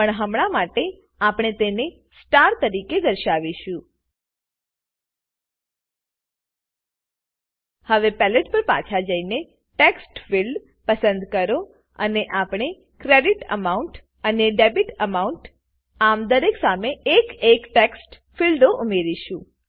પણ હમણાં માટે આપણે તેને સ્ટાર તરીકે દર્શાવીશું હવે પેલેટ પર પાછા જઈને ટેક્સ્ટફિલ્ડ પસંદ કરો અને આપણે ક્રેડિટ એમાઉન્ટ અને ડેબિટ એમાઉન્ટ આ દરેક સામે એક એક ટેક્સ્ટ ફીલ્ડો ઉમેરીશું